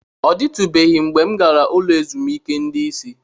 Ọ dịtụbeghị mgbe m gara ụlọ ezumike ndị isi.